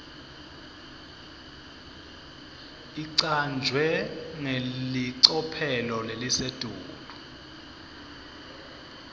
icanjwe ngelicophelo lelisetulu